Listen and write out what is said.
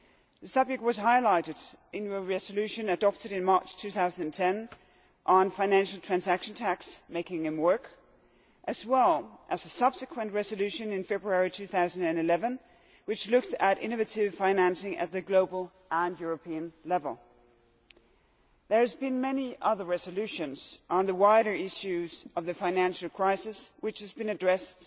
The subject was highlighted in a resolution adopted in March 2010 on financial transaction taxes making them work', as well as in a subsequent resolution in February 2011, which looked at innovative financing at global and European level. There have been many other resolutions on the wider issues of the financial crisis that have addressed